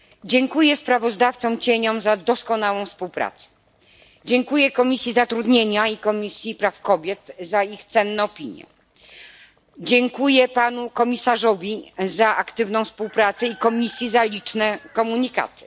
Dziękuję kontrsprawozdawcom za doskonałą współpracę, dziękuję Komisji Zatrudnienia i Komisji Praw Kobiet za ich cenne opinie, dziękuję Panu Komisarzowi za aktywną współpracę i Komisji za liczne komunikaty.